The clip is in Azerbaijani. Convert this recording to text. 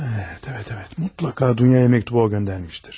Əvət, əvət, əvət, mütləqa Dunyaya məktubu o göndərmişdir.